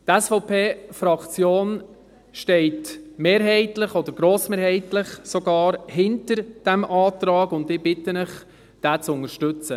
Die SVP-Fraktion steht mehrheitlich, oder sogar grossmehrheitlich, hinter diesem Antrag, und ich bitte Sie, diesen zu unterstützen.